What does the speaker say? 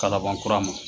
Kalaban kura ma